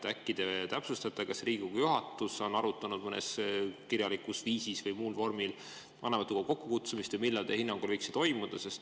Äkki te täpsustate, kas Riigikogu juhatus on arutanud kirjalikul viisil või muus vormis vanematekogu kokkukutsumist või millal teie hinnangul võiks see toimuda.